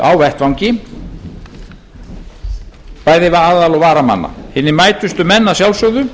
á vettvangi bæði aðal og varamanna hinir mætustu menn að sjálfsögðu